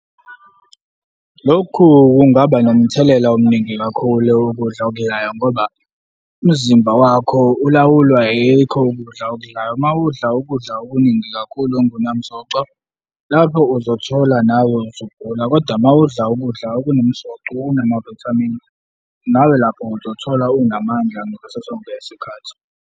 Lokhu kungaba nomthelela omningi kakhulu ukudla okudlayo ngoba umzimba wakho ulawulwa yikho ukudla okudlayo. Uma udla ukudla okuningi kakhulu ongunamsoco, lapho uzothola nawe usugula, koda uma udla ukudla okunomsoco okunama-vitamin, nawe lapho uzothola unamandla ngaso sonke isikhathi.